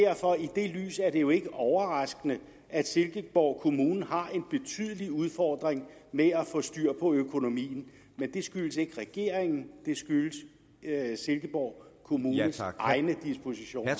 lys er det jo ikke overraskende at silkeborg kommune har en betydelig udfordring med at få styr på økonomien men det skyldes ikke regeringen det skyldes silkeborg kommunes egne dispositioner